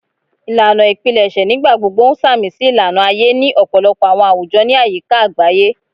Ilana ipilẹṣẹ nigbagbogbo n samisi ilana aye ni ọpọlọpọ awọn awujọ ni ayika agbaye